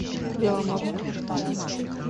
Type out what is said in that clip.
беломорску